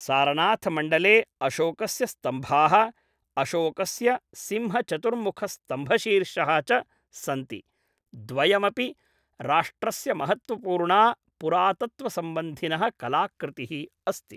सारनाथमण्डले अशोकस्य स्तम्भाः, अशोकस्य सिंहचतुर्मुखस्तम्भशीर्षः च सन्ति, द्वयमपि राष्ट्रस्यमहत्त्वपूर्णा पुरातत्त्वसम्बन्धिनः कलाकृतिः अस्ति।